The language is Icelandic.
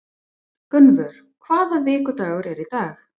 Gunnvör, hvaða vikudagur er í dag?